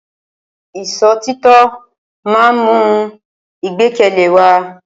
Ìṣọ̀títọ́ ma ń mú ìgbẹ́kẹ̀lé wa.